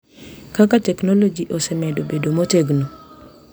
Kaka teknoloji osemedo bedo motegno